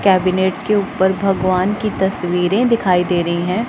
Cabinets के ऊपर भगवान की तस्वीरें दिखाई दे रही हैं।